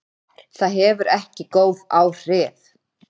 Það hefur ekki góð áhrif.